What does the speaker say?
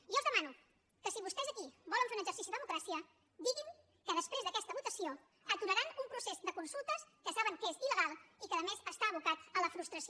jo els demano que si vostès aquí volen fer un exercici de democràcia diguin que després d’aquesta votació aturaran un procés de consultes que saben que és ila la frustració